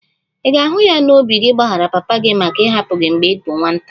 Ị ga-ahụ ya n'obi gị ịgbaghara papa gị maka ịhapụ gị mgbe ị bụ nwata?